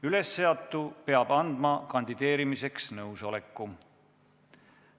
Ülesseatu peab andma kandideerimiseks nõusoleku.